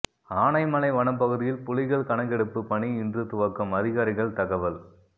ஆனைமலை வனப்பகுதியில் புலிகள் கணக்கெடுப்பு பணி இன்று துவக்கம் அதிகாரிகள் தகவல்